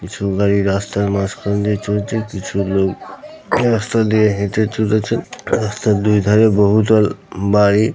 কিছু গাড়ি রাস্তার মাঝখান দিয়ে চলছে। কিছু লোক রাস্তা দিয়ে হেঁটে চলেছে। রাস্তার দু ধারে বহু দল বাড়ি।